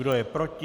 Kdo je proti?